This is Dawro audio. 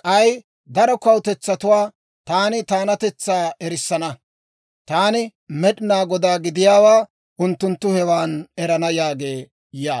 K'ay daro kawutetsatuwaa taani taanatetsaa erissana. Taani Med'inaa Godaa gidiyaawaa unttunttu hewan erana» yaagee yaaga.